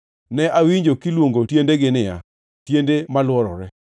Ne awinjo kiluongo tiendegi niya, “Tiende malworore.”